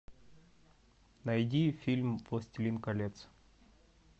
найди фильм властелин колец